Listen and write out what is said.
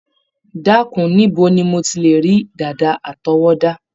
Dákun, níbo ni mo ti lè rí dàda àtọwọ́dá?